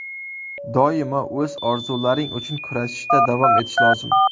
Doimo o‘z orzularing uchun kurashishda davom etish lozim.